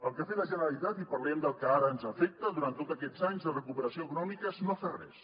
el que ha fet la generalitat i parlem del que ara ens afecta durant tots aquests anys de recuperació econòmica és no fer res